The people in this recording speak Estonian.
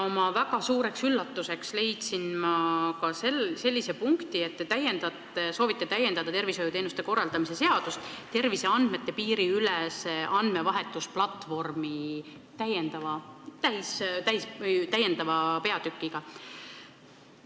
Oma väga suureks üllatuseks leidsin ma eelnõust sellise punkti, et te soovite tervishoiuteenuste korraldamise seadust täiendada terviseandmete piiriülese andmevahetusplatvormi peatükiga.